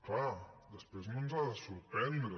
clar després no ens ha de sorprendre